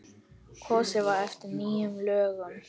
Kosið var eftir nýjum lögum.